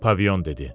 Pavion dedi.